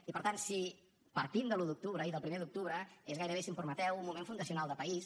i per tant si partim de l’un d’octubre i del primer d’octubre és gairebé si em permeteu un moment fundacional de país